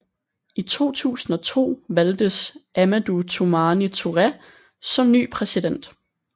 I 2002 valgtes Amadou Toumani Touré som ny præsident